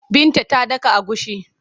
Binta ta daka agushi.